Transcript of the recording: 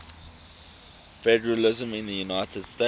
federalism in the united states